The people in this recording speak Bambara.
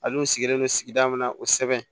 Al'u sigilen non sigida min na o sɛbɛn